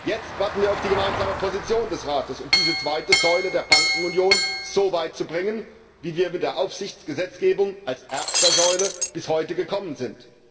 Jetzt warten wir auf den gemeinsamen Standpunkt des Rates, um diese zweite Säule der Bankenunion so weit zu bringen, wie wir mit der Aufsichtsgesetzgebung als erster Säule bis heute gekommen sind.